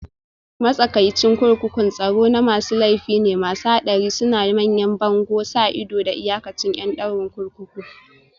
Matsakaicin kurkukun tsaro na masu laifi ne masu haɗari, suna da manyan bango, sa ido, da iyakacin ƴan ɗaurin kurkuku